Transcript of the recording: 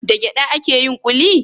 Da gyada ake yin kuli?